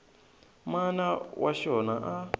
mana wa xona a a